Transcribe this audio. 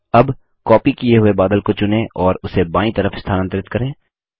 अब कॉपी किये हुए बादल को चुनें और उसे बायीं तरफ स्थानांतरित करें